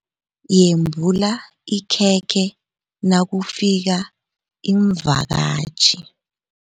Yembula ikhekhe nakufika iimvakatjhi.